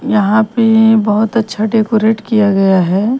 यहां पे बहुत अच्छा डेकोरेट किया गया है।